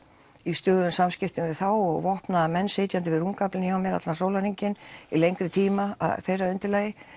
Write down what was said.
í stöðugum samskiptum við þá vopnaða menn sitjandi við rúmgaflinn hjá mér allan sólarhringinn í lengri tíma að þeirra undirlagi